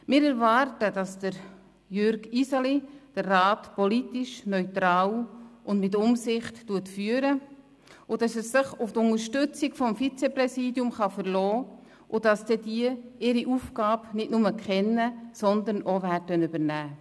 Wir erwarten, dass Jürg Iseli den Rat politisch neutral und mit Umsicht führen wird, dass er sich auf die Unterstützung des Vizegrossratspräsidiums verlassen kann und dass diese beiden ihre Aufgaben nicht nur kennen, sondern auch wahrnehmen.